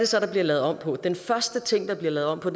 så der bliver lavet om på den første ting der bliver lavet om på